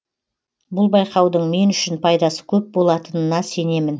бұл байқаудың мен үшін пайдасы көп болатынына сенемін